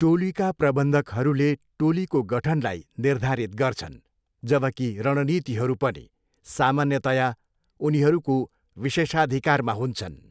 टोलीका प्रबन्धकहरूले टोलीको गठनलाई निर्धारित गर्छन्, जबकि रणनीतिहरू पनि सामान्यतया उनीहरूको विशेषाधिकारमा हुन्छन्।